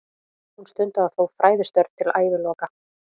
Hún stundaði þó fræðistörf til æviloka.